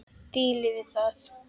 Dílið við það!